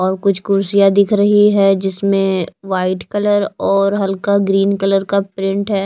और कुछ कुर्सियां दिख रही हैं जिसमें वाइट कलर और हल्का ग्रीन कलर का प्रिंट है।